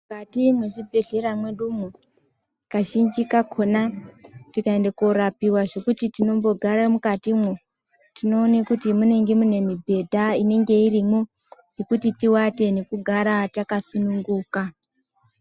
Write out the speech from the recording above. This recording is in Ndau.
Mukati mwezvibhedhlera mwedumwo kazhinji kakona tikaende korapiwa zvekuti tinombogara mukatimwo tinoone kuti munenge mune mibhedha inenge irimwo yekuti tiwate nekugara takasununguka.